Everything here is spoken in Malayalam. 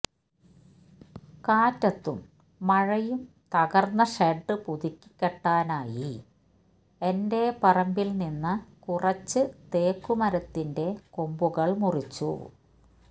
കാറ്റത്തും മഴയും തകര്ന്ന ഷെഡ് പുതുക്കി കെട്ടാനായി എന്റെ പറമ്പില് നിന്ന കുറച്ചു തേക്കു മരത്തിന്റെ കൊമ്പുകള് മുറിച്ചു